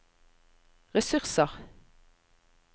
ressurser